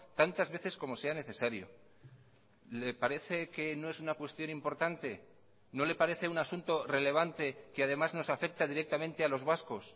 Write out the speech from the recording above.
tantas veces como sea necesario le parece que no es una cuestión importante no le parece un asunto relevante que además nos afecta directamente a los vascos